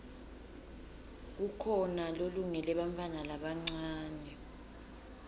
kukhona lolungele bantfwana labancane